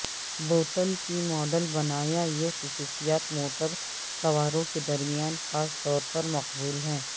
بوتل کے ماڈل بنایا یہ خصوصیات موٹر سواروں کے درمیان خاص طور پر مقبول ہیں